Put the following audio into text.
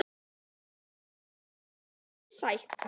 Er Evrópusæti raunsætt?